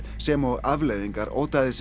sem og afleiðingar